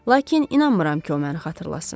Lakin inanmıram ki, o məni xatırlasın.